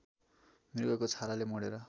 मृगको छालाले मोडेर